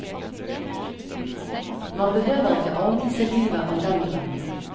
Man behøver ikke avvise livet av den grunn.